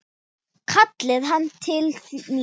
kallaði hann til mín.